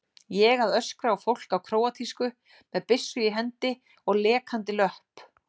Ég að öskra á fólk á króatísku, með byssu í hendi og lekandi löpp.